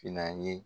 Finna ye